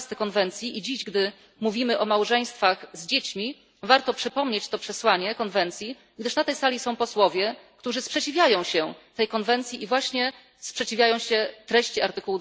12 konwencji i dziś, gdy mówimy o małżeństwach z dziećmi, warto przypomnieć to przesłanie konwencji, gdyż na tej sali są posłowie, którzy sprzeciwiają się tej konwencji i sprzeciwiają się właśnie treści art.